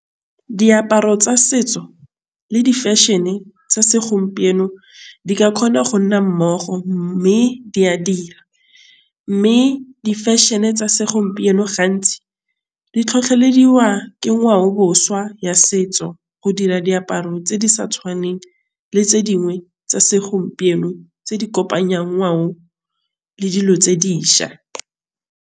Diaparo tsa setso le di fashion-e tsa segompieno di ka kgona go nna mmogo mme di a dira mme di fashion-e tsa segompieno gantsi di tlhotlhelediwa ke ngwaoboswa ya setso go dira diaparo tse di sa tshwaneng le tse dingwe tsa segompieno tse di le dilo tse dišwa.